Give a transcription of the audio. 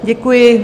Děkuji.